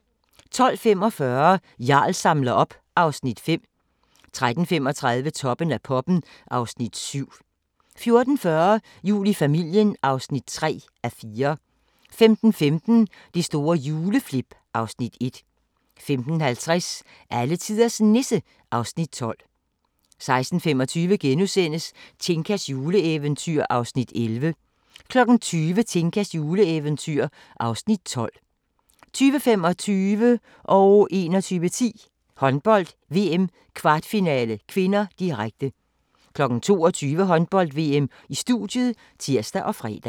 12:45: Jarl samler op (Afs. 5) 13:35: Toppen af poppen (Afs. 7) 14:40: Jul i familien (3:4) 15:15: Det store juleflip (Afs. 1) 15:50: Alletiders Nisse (Afs. 12) 16:25: Tinkas juleeventyr (Afs. 11)* 20:00: Tinkas juleeventyr (Afs. 12) 20:25: Håndbold: VM - kvartfinale (k), direkte 21:10: Håndbold: VM - kvartfinale (k), direkte 22:00: Håndbold: VM - studiet (tir og fre)